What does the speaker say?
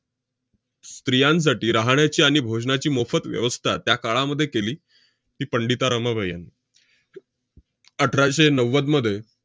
स्त्रियांसाठी राहण्याची आणि भोजनाची मोफत व्यवस्था त्या काळामध्ये केली ती पंडिता रमाबाई यांनी. अठराशे नव्वदमध्ये